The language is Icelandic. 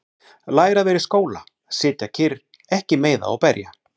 Læra að vera í skóla- sitja kyrr- ekki meiða og berja